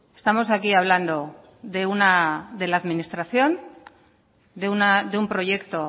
estamos aquí hablando de la administración de un proyecto